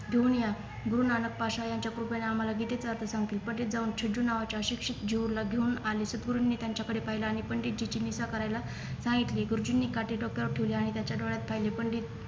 घेऊन या गुरु नानक पश्या याच्या कृपेने आम्हाला गीतेचा अर्थ सांगतील जाऊन झिजू नावाच्या अशिक्षत जीवला घेऊन आले सद्गुरुन त्यांच्या कडे पहिले आणि पंडित जीच निंदा करायला सांगितली गुरुजीनी काठी डोक्यावर ठेवली आणि त्यांच्या डोळ्यात पाहिले पंडित